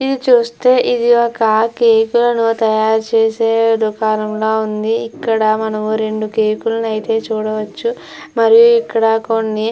ఇది చుస్తే ఇది ఒక కేక్ కులను తయారు చేసే దుకాణంలా ఉంది ఇక్కడ మనము రెండు కేక్ కులనయితే చూడొచ్చు మరియు ఇక్కడ కొన్ని --